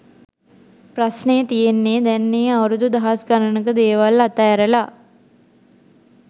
ප්‍රස්නේ තියෙන්නේ දැන් ඒ අවුරුදු දහස් ගණක දේවල් අත ඇරලා